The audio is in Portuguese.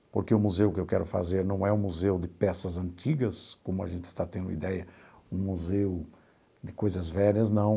Porque o museu que eu quero fazer não é um museu de peças antigas, como a gente está tendo ideia, um museu de coisas velhas, não.